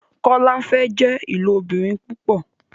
Kola fè jé ilobìrin púpò